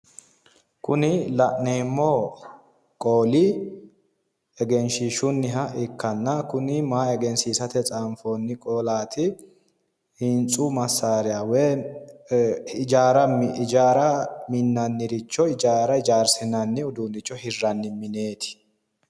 Kuni la'neemmo qooli egenshiishshunniha ikkanna kuni maa egensiisate xaanfoonni qolaati hintsu masssriya woy hijaara minnanniricho hijaara hijaarsinanni uduunne hirranni mineeti